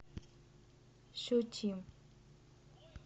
щучьим